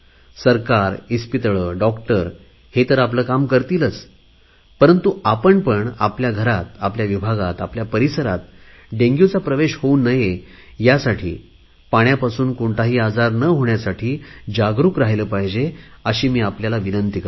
सरकार hospital doctor हे तर आपले काम करतीलच परंतु आपण पण आपल्या घरात आपल्या विभागात आपल्या परिवारात डेंग्युचा प्रवेश होऊ नये यासाठी पाण्यापासून कोणताही आजार न होण्यासाठी जागरुक राहिले पाहिजे अशी मी आपल्याला विनंती करतो